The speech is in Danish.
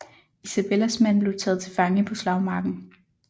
Isabellas mand blev taget til fange på slagmarken